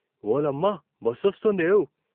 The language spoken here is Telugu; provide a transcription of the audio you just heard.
ఓలమ్మ బస్సొస్తుందేవ్.